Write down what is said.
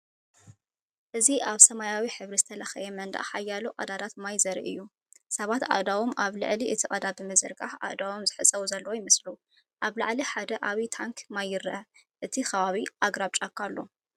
እዚ ኣብ ሰማያዊ ሕብሪ ዝተለኽየ መንደቕ ሓያሎ ቀዳዳት ማይ ዘርኢ እዩ። ሰባት ኣእዳዎም ኣብ ልዕሊ እቲ ቀዳዳት ብምዝርጋሕ ኣእዳዎም ዝሕጸቡ ዘለዉ ይመስሉ። ኣብ ላዕሊ ሓደ ዓቢ ታንኪ ማይ ይርአ፣ ኣብቲ ከባቢ ኣግራብ ጫካ ኣሎ።